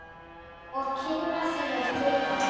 Og kinnar þínar titra.